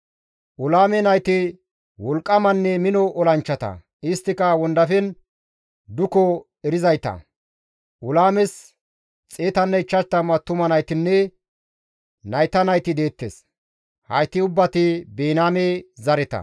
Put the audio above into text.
Ulaame nayti wolqqamanne mino olanchchata; isttika wondafen duko erizayta; Ulaames 150 attuma naytinne nayta nayti deettes. Hayti ubbati Biniyaame zareta.